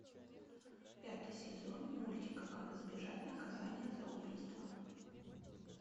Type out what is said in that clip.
пятый сезон мультика как избежать наказания за убийство